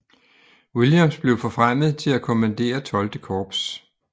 Williams blev forfremmet til at kommandere XII Korps